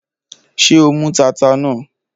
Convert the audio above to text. Ṣé o mú tata náà?